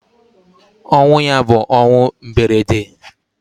Ọnwụ ya bu ọnwụ mberede.